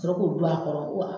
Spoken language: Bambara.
Ka sɔrɔ k'o gul'a kɔrɔ wa